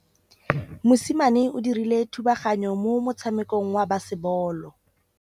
Mosimane o dirile thubaganyô mo motshamekong wa basebôlô.